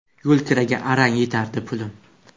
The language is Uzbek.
Yo‘lkiraga arang yetardi pulim.